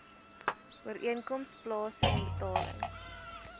ooreenkoms plaasen betaling